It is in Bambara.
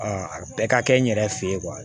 a bɛɛ ka kɛ n yɛrɛ fe ye kuwa